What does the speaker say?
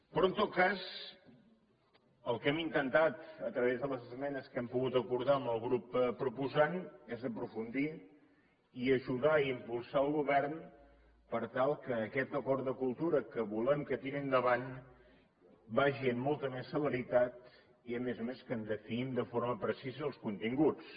però en tot cas el que hem intentat a través de les esmenes que hem pogut acordar amb el grup proposant és aprofundir i ajudar a impulsar al govern per tal que aquest acord de cultura que volem que tiri endavant vagi amb molta més celeritat i a més a més que en definim de forma precisa els continguts